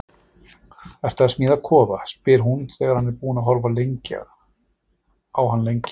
Ertu að smíða kofa? spyr hún þegar hún er búin að horfa á hann lengi.